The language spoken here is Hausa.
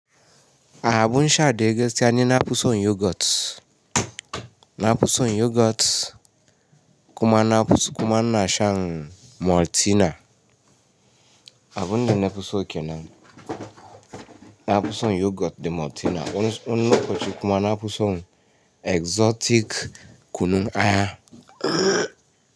A abun shaɗai gaskiya ni na fison yogurt. Na fuson yogurt kuma ina shan Maltina. Abunda nna fuso ke nan. Na fuson yogurt da Maltina. Wani lokaci kuma na fuson exotic kunun aya.